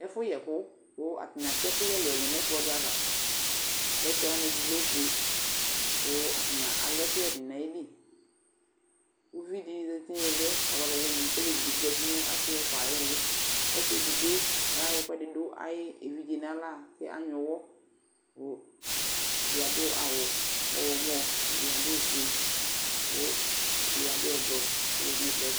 Ɛfʋyɛkʋ kʋ atanɩ atɛ ɛkʋyɛ ɛlʋ-ɛlʋ nʋ ɛkplɔ dɩ ava Plɛtɛ wanɩ lɛ ofue kʋ atanɩ alɛ ɛkʋyɛ dɩnɩ nʋ ayili Uvi dɩ zati nʋ ɩɩlɩ yɛ, ɔlɛ ɔlʋwɩnɩ kʋ olevi dɩ bɩ zati nʋ asɩ ɛfʋa ayʋ ɩɩlɩ Ɔsɩ edigbo yɛ ɔyayɔ ɛkʋɛdɩ dʋ ayʋ evidze yɛ nʋ aɣla kʋ anyʋɛ ʋɣɔ kʋ ɛdɩ adʋ awʋ ɔɣlɔmɔ, ɛdɩ adʋ ofue la kʋ ɛdɩ adʋ ɛblɔ kʋ ɔzati nʋ ɛkplɔ ɛtʋ